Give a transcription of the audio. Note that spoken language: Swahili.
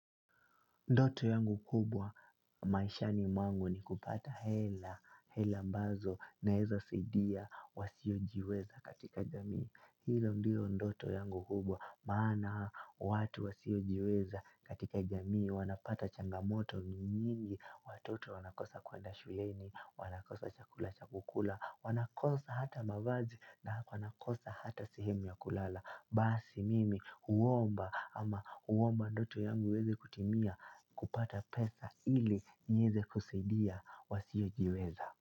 Ndoto yangu kubwa maishani mwangu ni kupata hela, hela ambazo naweza saidia wasiojiweza katika jamii. Hilo ndio ndoto yangu kubwa, maana watu wasiojiweza katika jamii, wanapata changamoto nyingi, watoto wanakosa kuenda shuleni, wanakosa chakula cha kukula, wanakosa hata mavazi na wanakosa hata sehemu ya kulala. Basi mimi huomba ama huomba ndoto yangu iweze kutimia kupata pesa ili nieze kusaidia wasiojiweza.